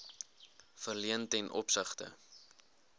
verleen ten opsigte